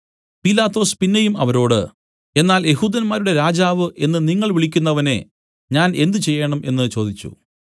പീലാത്തോസ് പിന്നെയും അവരോട് എന്നാൽ യെഹൂദന്മാരുടെ രാജാവ് എന്ന് നിങ്ങൾ വിളിക്കുന്നവനെ ഞാൻ എന്ത് ചെയ്യേണം എന്നു ചോദിച്ചു